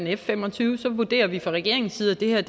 f fem og tyve så vurderer vi fra regeringens side at det her